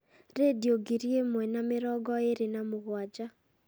rĩndiũ ngiri ĩmwe na mĩrongo ĩrĩ na mũgwanja